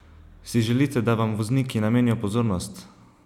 Si želite, da vam vozniki namenijo pozornost?